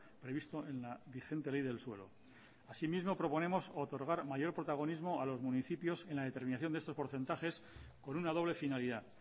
previsto en la vigente ley del suelo así mismo proponemos otorgar mayor protagonismo a los municipios en la determinación de estos porcentajes con una doble finalidad